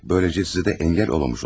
Böyləcə sizə də əngəl olmamış olurum.